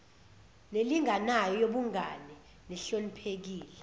nelinganayo yobungane nehloniphekile